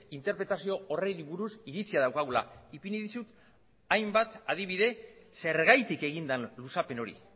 interpretazio horri buruz iritzia daukagula ipini dizut hainbat adibide zergatik egin den luzapen hori